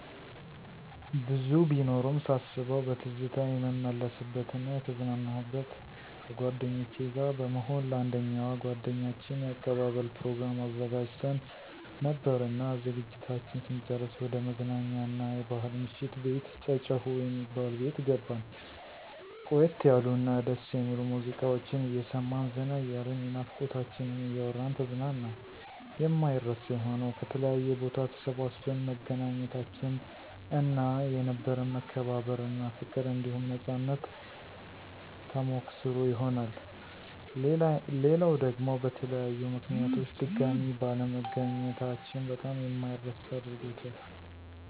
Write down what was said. ብዙ ቢኖሩም ሳስበዉ በትዝታ የምመለስበት እና የተዝናናሁበት፦ ከጓደኞቸ ጋር በመሆን ለአንደኛዋ ጓደኛችን የአቀባበል ፕሮግራም አዘጋጅተን ነበርና ዝግጅታችን ስንጨርስ ወደ መዝናኛ አና የባሕል ምሽት ቤት ጨጨሆ የሚባል ቤት ገባን። ቆየት ያሉ እና ደስ የሚሉ ሙዚቃወችን አየሰማን ዘና እያልን የናፍቆታችንን እያወራን ተዝናናን። የማይረሳ የሆነዉ፦ ከተለያየ ቦታ ተሰባስበን መገናኘታችን እና የነበረን መከባበር እና ፋቅር አንዲሁም ነፃነት ተሞከሰሮ ይሆናል። ሌላዉ ደግሞ በተለያዩ ምከንያቶች ድጋሜ ባለመገናኘታችን በጣም የማይረሳ አድርጎታል።